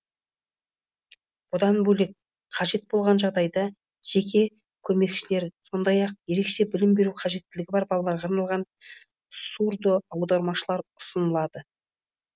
бұдан бөлек қажет болған жағдайда жеке көмекшілер сондай ақ ерекше білім беру қажеттілігі бар балаларға арналған сурдоаудармашылар ұсынылады